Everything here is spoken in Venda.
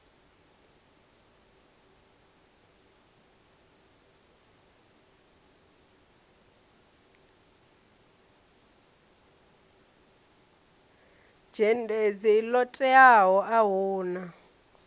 dzhendedzi ḽo teaho a huna